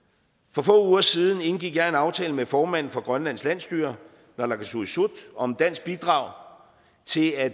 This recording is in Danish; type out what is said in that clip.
for få uger siden indgik jeg en aftale med formanden for grønlands landsstyre naalakkersuisut om dansk bidrag til at